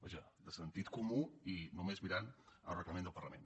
vaja de sentit comú i només mirant el reglament del parlament